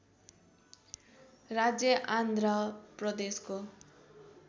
राज्य आन्ध्र प्रदेशको